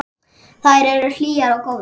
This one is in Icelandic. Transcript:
Þær eru hlýjar og góðar.